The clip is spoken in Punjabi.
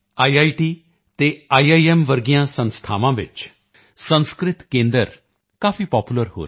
ਟੀਐੱਸ ਅਤੇ ਆਈਆਈਐੱਮਐੱਸ ਵਰਗੀਆਂ ਸੰਸਥਾਵਾਂ ਵਿੱਚ ਸੰਸਕ੍ਰਿਤ ਕੇਂਦਰ ਕਾਫੀ ਪਾਪੂਲਰ ਹੋ ਰਹੇ ਹਨ